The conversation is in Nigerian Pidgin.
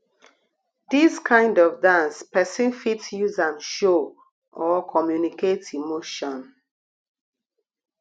dis kind of dance person fit use am show or communicate emotion